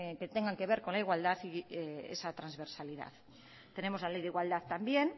que tengan que ver con la igualdad y esa transversalidad tenemos la ley de igualdad también